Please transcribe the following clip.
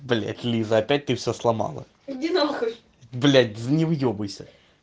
блять лиза опять ты все сломала иди на хуй блять не выебывайся